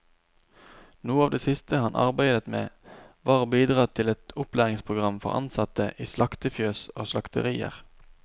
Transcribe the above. Noe av det siste han arbeidet med, var å bidra til et opplæringsprogram for ansatte i slaktefjøs og slakterier.